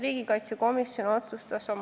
Riigikaitsekomisjon otsustas oma s.